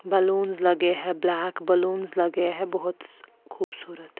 balloons लगे हैं black balloons लगे हैं बहुत खूबसूरत--